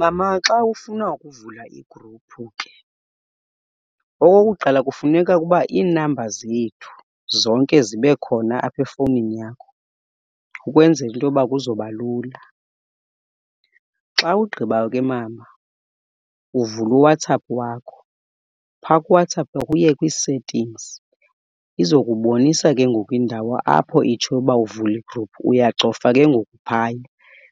Mama xa ufuna ukuvula igruphu ke, okokuqala kufuneka ukuba iinamba zethu zonke zibe khona apha efowunini yakho, ukwenzela into yoba kuzoba lula. Xa ugqibayo ke mama uvula uWhatsApp wakho, phaa kuWhatsApp wakho uye kwii-settings. Izokubonisa ke ngoku indawo apho itshoyo uba uvule igruphu, uyacofa ke ngoku phaya.